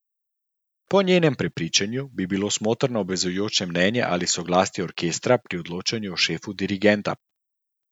Po njenem prepričanju bi bilo smotrno obvezujoče mnenje ali soglasje orkestra pri odločanju o šefu dirigentu.